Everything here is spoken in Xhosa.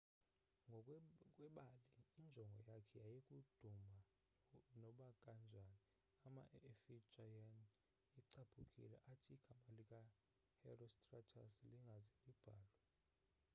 ngokwebali injongo yakhe yayikuduma nobakanjani ama-efijian ecaphukile athi igama lika herostratus lingaze libhalwe